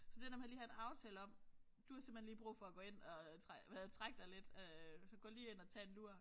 Så det der med lige at have en aftale om du har simpelthen lige brug for at gå ind og hvad hedder det trække dig lidt øh så gå lige ind og tag en lur